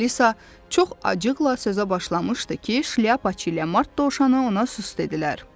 Alisa çox acıqla sözə başlamışdı ki, Şlyapaçı ilə Mart dovşanı ona sus dedilər.